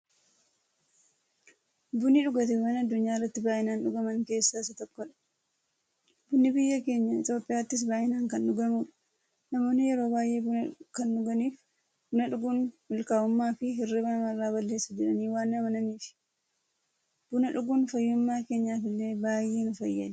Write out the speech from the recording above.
Bunni dhugaatiiwwan addunyaarratti baay'inaan dhugaman keessaa isa tokkodha. Bunni biyya keenya Itiyoophiyaattis baay'inaan kan dhugamuudha. Namoonni yeroo baay'ee buna kan dhuganiif, buna dhuguun mukaa'ummaafi hirriiba namarraa balleessa jedhanii waan amananiifi. Buna dhuguun fayyummaa keenyaf illee baay'ee nu fayyada.